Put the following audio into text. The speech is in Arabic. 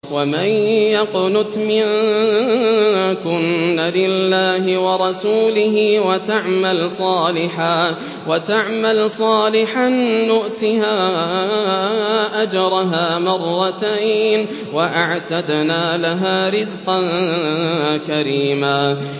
۞ وَمَن يَقْنُتْ مِنكُنَّ لِلَّهِ وَرَسُولِهِ وَتَعْمَلْ صَالِحًا نُّؤْتِهَا أَجْرَهَا مَرَّتَيْنِ وَأَعْتَدْنَا لَهَا رِزْقًا كَرِيمًا